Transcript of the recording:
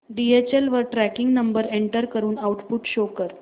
DHL वर tracking number enter करून output show कर